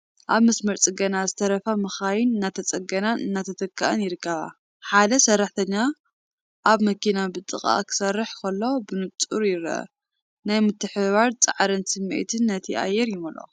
ኣብ መስመር ፅገና ዝተረፋ መካይን እናተፀገናን እናተተክኣን ይርከባ። ሓደ ሰራሕተኛ ኣብታ መኪና ብጥንቃቐ ክሰርሕ ከሎ ብንጹር ይርአ። ናይ ምትሕብባርን ጻዕርን ስምዒት ነቲ ኣየር ይመልኦ።